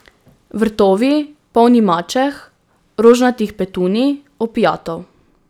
Vrtovi, polni mačeh, rožnatih petunij, opiatov.